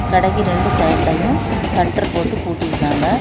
கடைக்கு ரெண்டு சைடுலையு ஷட்டர் போட்டு பூட்டி இருக்காங்க.